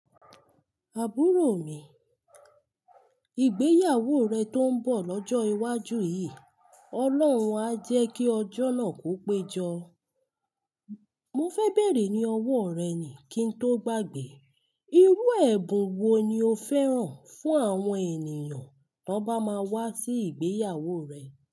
Àbúrò mi, ìgbéyàwó rẹ tó ń bọ̀ lọ́jọ́ iwájú yìí, Ọlọ́run a jẹ́ kí ọjọ́ náà kó péjọ. Mo fẹ́ bèrè ní owó rẹ ni kí n tó gbàgbé. Irú ẹ̀bùn wo ni o fẹ́ran fún àwọn ènìyàn tí wọ́n bá máa wá sí ìgbéyàwó rẹ?